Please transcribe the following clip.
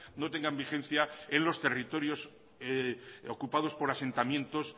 no tengan vigencia en los territorios ocupados por asentamientos